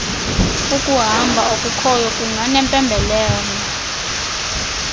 ukumba okukhoyo kunganempembelelo